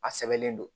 A sɛbɛnlen don